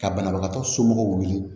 Ka banabagatɔ somɔgɔw wele